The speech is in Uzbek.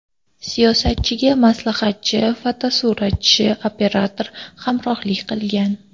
Siyosatchiga maslahatchi, fotosuratchi, operator hamrohlik qilgan.